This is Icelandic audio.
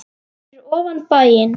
Fyrir ofan bæinn.